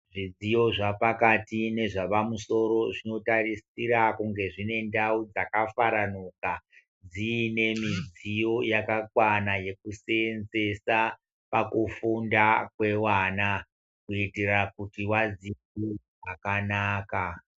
Zvidziyo zva pakati nezva pa musoro zvino tarisira kunge zvine ndau dzaka faranuka dziine midziyo yaka kwana yeku senzesa paku funda kwe vana kuitira kuti vadzidze zvakanaka.